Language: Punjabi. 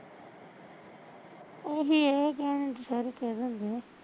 ਓਹੀ ਐ ਕਹਿਣੇ ਨੂੰ ਤਾਂ ਸਾਰੇ ਕਹਿ ਦਿੰਦੇ